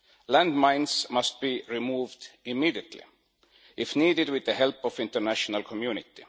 Landmines must be removed immediately, if needed with the help of the international community.